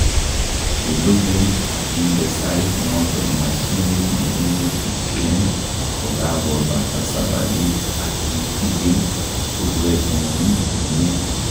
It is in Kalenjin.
lulugun akinde sait noton mashinit nekimwetishen kokakobata sabarit ak ichikil kurwetngung komie